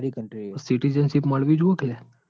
હા Citizenship મળવું જોવ કે?